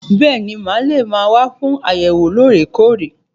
Bẹẹni, ma lè máa wá fún àyẹ̀wò loore-koore.